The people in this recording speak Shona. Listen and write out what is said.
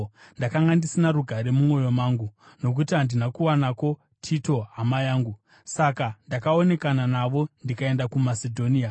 ndakanga ndisina rugare mumwoyo mangu, nokuti handina kuwanako Tito hama yangu. Saka ndakaonekana navo ndikaenda kuMasedhonia.